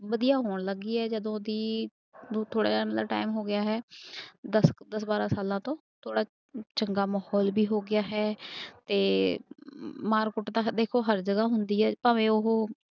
ਵਧੀਆ ਹੋਣ ਲੱਗ ਗਈ ਹੈ ਜਦੋਂ ਦੀ ਉਹ ਥੋੜ੍ਹਾ ਜਿਹਾ ਮਤਲਬ time ਹੋ ਗਿਆ ਹੈ ਦਸ ਦਸ ਬਾਰਾਂ ਸਾਲਾਂ ਤੋਂ ਥੋੜ੍ਹਾ ਚੰਗਾ ਮਾਹੌਲ ਵੀ ਹੋ ਗਿਆ ਹੈ ਤੇ ਮਾਰ ਕੁੱਟ ਤਾਂ ਦੇਖੋ ਹਰ ਜਗ੍ਹਾ ਹੁੰਦੀ ਹੈ ਭਾਵੇਂ ਉਹ